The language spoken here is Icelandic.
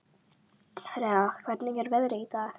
Rea, hvernig er veðrið í dag?